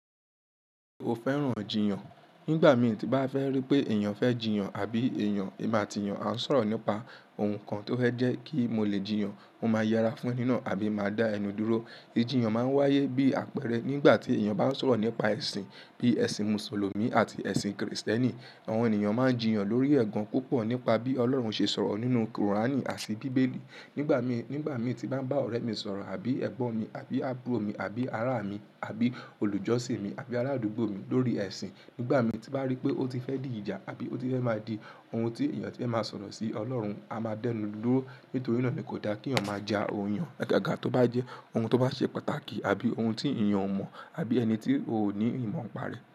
O fẹ́ràn jiyàn. Nígbà mi ti bá fẹ́ rí pé èèyàn fẹ́ jìyàn àbí èèyàn emo ati eyàn, a sọ̀rọ̀ nípa ohun kan tó fẹ́ jẹ́ kí mo lè jìyàn, mo máa yara fún ẹ nínú àbí máa dá ẹnu dúró. Jiyan máa ń wáyé bí àpẹẹrẹ nígbà tí èèyàn bá ń sọ̀rọ̀ nípa ẹ̀sìn bíi ẹ̀sìn Mùsùlùmí àti ẹ̀sìn kìrìsìtẹ́nì. Àwọn ènìyàn máa ń jìyàn lórí ẹ̀gàn púpọ̀ nípa bí Ọlọ́run ṣe sọ̀rọ̀ nínú Kùránì àti Bíbélì. Nígbà mi, nígbà mi ti bá ń bá ọ̀rẹ́ mi sọ̀rọ̀ àbí ẹ̀gbọ́n mi àbí àbúrò mi àbí ará mi àbí olùjọ́sìn mi àbí aládùúgbò mi lórí ẹ̀sìn, nígbà mi ti bá rí pé ó ti fẹ́ dì ìjà àbí ó ti fẹ́ máa di ohun tí èèyàn ti ń máa sọ̀rọ̀ sí Ọlọ́run, a máa dẹ́nu dúró. Nítorí náà ni kò dá kí èèyàn máa ja òun yan. Agaga tó bá jẹ́ ohun tó bá ṣe pàtàkì àbí ohun tí èèyàn ò mọ̀ àbí ẹni tí òní ìmọ̀ ń pa rẹ̀